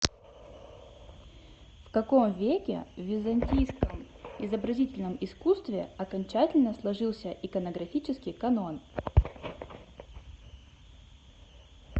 в каком веке в византийском изобразительном искусстве окончательно сложился иконографический канон